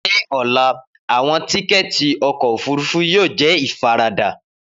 Ni ọla, awọn tikẹti ọkọ ofurufu yoo jẹ ifarada.